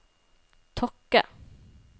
Tokke